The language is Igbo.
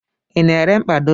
I na-ere mkpado?